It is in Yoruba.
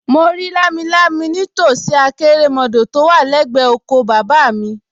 Mo rí lámilámi nítòsí àkérémọdọ̀ tó wà lẹ́gbẹ̀ẹ́ oko bàbá mi